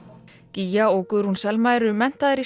gígja og Guðrún Selma eru menntaðar í